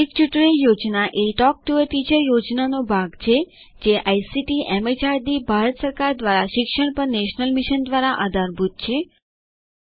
મૌખિક tutorial project એ talk to a teacher પ્રોજેક્ટનો ભાગ છે જે આઇસીટીએમએચઆરડીભારત સરકાર દ્વારા શિક્ષણ પર નેશનલ મિશન દ્વારા આધારભૂત છે